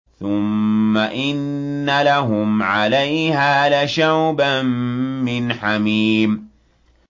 ثُمَّ إِنَّ لَهُمْ عَلَيْهَا لَشَوْبًا مِّنْ حَمِيمٍ